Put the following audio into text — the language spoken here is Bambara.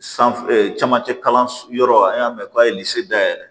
San camancɛ kalan yɔrɔ an y'a mɛn k'a ye ni se da yɛlɛ